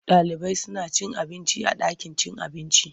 Ɗalibai suna cin abinci a ɗakin cin abinci.